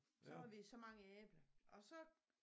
Så havde vi så mange æbler og så